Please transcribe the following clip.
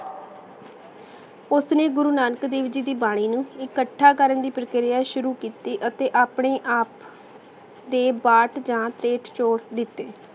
ਓਸਨੇ ਗੁਰੂ ਨਾਨਕ ਦੇਵ ਜੀ ਦੀ ਬਾਨੀ ਨੂ ਇਕਠਾ ਕਰਨ ਦੀ ਪ੍ਰਕ੍ਰਿਯਾ ਸ਼ੁਰੂ ਕੀਤੀ ਅਤੇ ਆਪਣੇ ਆਪ ਦੇ ਬਾਤ ਯਾ ਪੇੰਟ ਜੋਰ ਦਿਤੇ